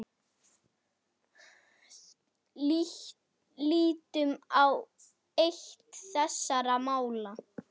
Lítum á eitt þessara mála.